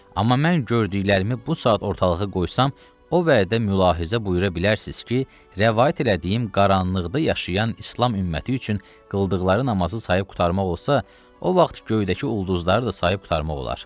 Amma mən gördüklərimi bu saat ortalığa qoysam, o vədə mülahizə buyura bilərsiniz ki, rəvayət elədiyim qaranlıqda yaşayan İslam ümməti üçün qıldıqları namazı sayıb qurtarmaq olsa, o vaxt göydəki ulduzları da sayıb qurtarmaq olar.